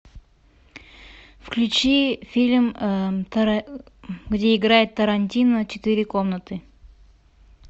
включи фильм где играет тарантино четыре комнаты